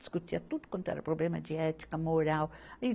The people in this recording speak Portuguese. Discutia tudo quanto era problema de ética, moral.